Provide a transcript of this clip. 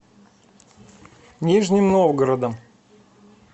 нижним новгородом